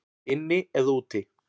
Inni eða úti?